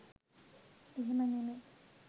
එහෙම නෙමෙයි